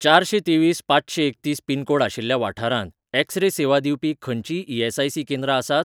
चारशें तेवीस पांचशें एकतीस पिनकोड आशिल्ल्या वाठारांत, एक्स रे सेवा दिवपी खंयचींय ई.एस.आय.सी. केंद्रां आसात?